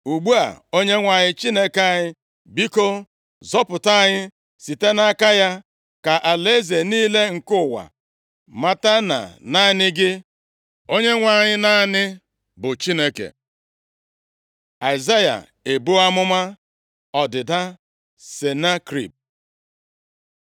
Ugbu a, Onyenwe anyị Chineke anyị, biko, zọpụta anyị site nʼaka ya, ka alaeze niile nke ụwa mata na naanị gị Onyenwe anyị, naanị, bụ Chineke.” Aịzaya ebuo amụma ọdịda Senakerib